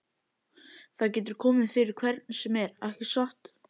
Það getur komið fyrir hvern sem er, ekki satt?